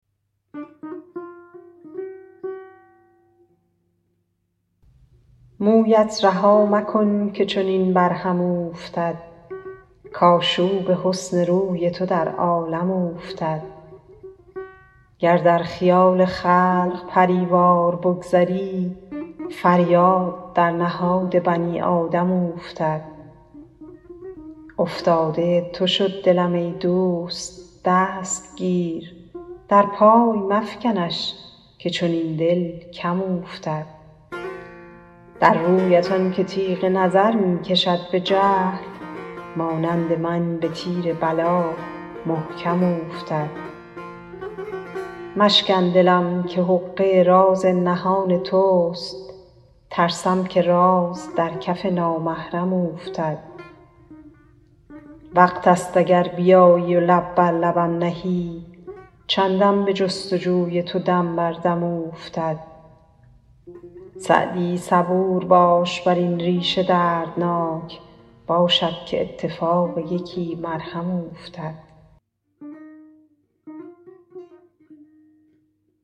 مویت رها مکن که چنین بر هم اوفتد کآشوب حسن روی تو در عالم اوفتد گر در خیال خلق پری وار بگذری فریاد در نهاد بنی آدم اوفتد افتاده تو شد دلم ای دوست دست گیر در پای مفکنش که چنین دل کم اوفتد در رویت آن که تیغ نظر می کشد به جهل مانند من به تیر بلا محکم اوفتد مشکن دلم که حقه راز نهان توست ترسم که راز در کف نامحرم اوفتد وقت ست اگر بیایی و لب بر لبم نهی چندم به جست و جوی تو دم بر دم اوفتد سعدی صبور باش بر این ریش دردناک باشد که اتفاق یکی مرهم اوفتد